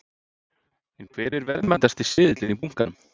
En hver er verðmætasti seðillinn í bunkanum?